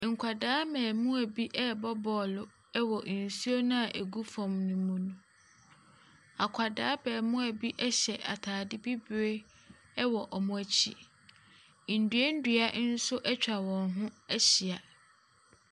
Nkwadaa mmarimaa bi rebc bcclo wɔ nsuo no a ɛgu fam no mu. Akwadaa abarimaa bi hyɛ atadeɛ bibire wɔ wɔn akyi. Nnua nnua nso atwa wɔn ho ahyia.